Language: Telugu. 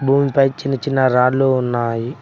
భూమిపై చిన్న చిన్న రాళ్లు ఉన్నాయి.